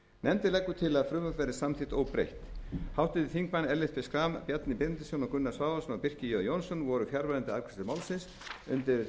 nefndin leggur til að frumvarpið verði samþykkt óbreytt háttvirtir þingmenn ellert b schram bjarni benediktsson gunnar svavarsson og birkir j jónsson voru fjarverandi við afgreiðslu málsins undir nefndarálitið